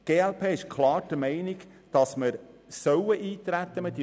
Die glp ist klar der Meinung, dass man eintreten soll.